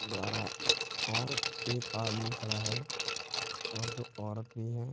द्वारा और एक आदमी खड़ा है और दो औरत भी है।